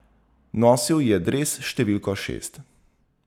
Nosil je dres s številko šest.